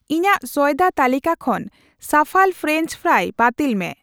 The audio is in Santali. ᱤᱧᱟᱜ ᱥᱚᱭᱫᱟ ᱛᱟᱹᱞᱤᱠᱟ ᱠᱷᱚᱱ ᱥᱟᱯᱷᱟᱞ ᱯᱷᱨᱮᱧᱪ ᱯᱷᱨᱟᱭ ᱵᱟᱹᱛᱤᱞ ᱢᱮ ᱾